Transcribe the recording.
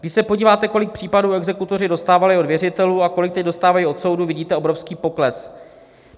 Když se podíváte, kolik případů exekutoři dostávali od věřitelů a kolik teď dostávají od soudu, vidíte obrovský pokles.